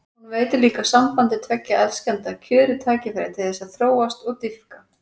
Hún veitir líka sambandi tveggja elskenda kjörið tækifæri til þess að þróast og dýpka.